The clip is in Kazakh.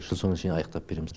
жыл соңына шейін аяқтап береміз